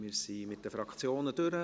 Wir sind mit den Fraktionen durch.